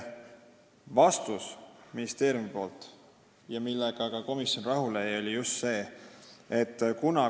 Vastus ministeeriumilt, millega ka komisjon rahule jäi, oli selline.